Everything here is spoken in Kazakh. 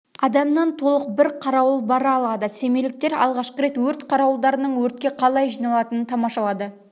адамнан толық бір қарауыл бара алады семейліктер алғашқы рет өрт қарауылдарының өртке қалай жиналатынын тамашалады